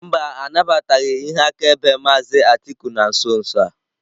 Mba, anabataghị ihe akaebe maazị Atiku na nso nso a.